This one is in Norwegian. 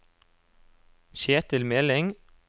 Kjetil Meling